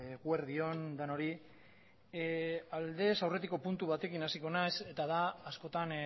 eguerdi on denoi aldez aurretiko puntu batekin hasiko naiz eta da askotan